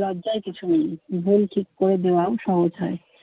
লজ্জার কিছু নেই। ভুল ঠিক করে দেওয়াও সহজ হয়।